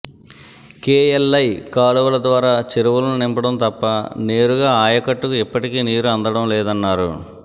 KLI కాలువల ద్వారా చెరువులను నింపడం తప్ప నేరుగా ఆయకట్టుకు ఇప్పటికీ నీరు అందడంలేదన్నారు